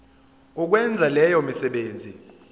ukwenza leyo misebenzi